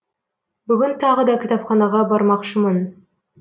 бүгін тағы да кітапханаға бармақшымын